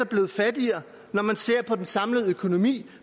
blevet fattigere når man ser på den samlede økonomi